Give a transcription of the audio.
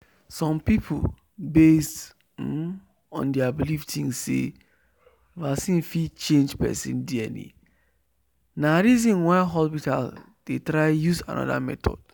some people based um on their believe think say vaccine fit change person dna na reason why hospitals they try use another method